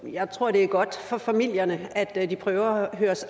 jeg tror at det er godt for familierne at de prøver at